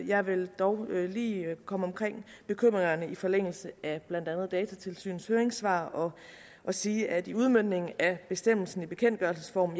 jeg vil dog lige komme omkring bekymringerne i forlængelse af blandt andet datatilsynets høringssvar og sige at i udmøntningen af bestemmelsen i bekendtgørelsesform